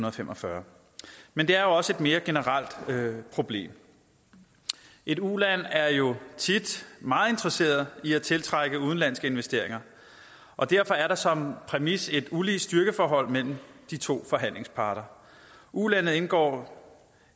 og fem og fyrre men det er også et mere generelt problem et uland er jo tit meget interesseret i at tiltrække udenlandske investeringer og derfor er der som præmis et ulige styrkeforhold mellem de to forhandlingsparter ulandet indgår